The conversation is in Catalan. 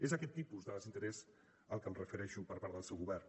és aquest tipus de desinterès al qual em refereixo per part del seu govern